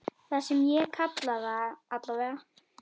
Það sem ég kalla það, allavega.